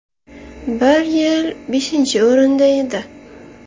Bir yil beshinchi o‘rinda edi.